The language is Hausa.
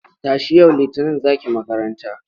Tashi! yau Litinin za ki makara.